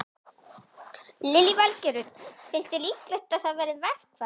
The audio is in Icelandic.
Lillý Valgerður: Finnst þér líklegt að það verði verkfall?